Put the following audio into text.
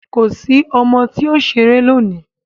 Kò sí ọmọ tí o sẹ̀rẹ̀ lóní!